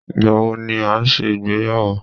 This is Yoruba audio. Ìgbà wo ni ẹ ṣe ìgbéyàwó?